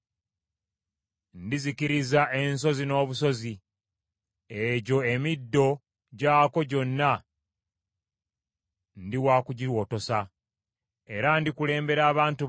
Ndizikiriza ensozi n’obusozi, egyo emiddo gyakwo gyonna ndi wakugiwotosa. Era ndikaza ebinywa byabwe byonna n’emigga ndigifuula ebizinga.